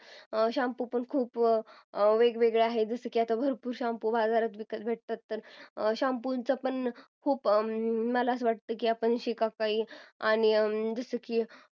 shampoo पण खूप वेगवेगळ्या आहेत भरपूर shampoo बाजारात विकत भेटतात shampoo चे पण खूप मला असं वाटतं की शिकाकाई आणी जसं की